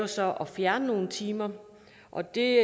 så at fjerne nogle timer og det